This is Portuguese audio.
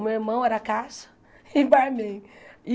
O meu irmão era caixa e barman.